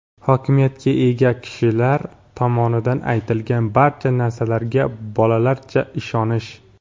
hokimiyatga ega kishilar tomonidan aytilgan barcha narsalarga bolalarcha ishonish.